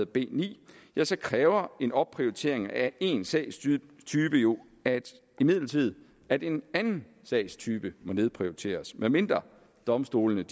b ni kræver en opprioritering af én sagstype jo imidlertid at en anden sagstype nedprioriteres medmindre domstolene